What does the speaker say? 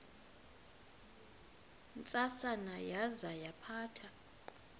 ntsasana yaza yaphatha